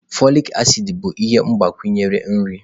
Folik acid bụ ihe mgbakwunye nri.